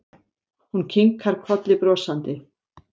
Hún kinkar kolli brosandi.